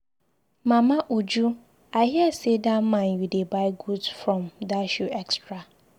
Mama Uju, I hear say dat man you dey buy goods from dash you extra.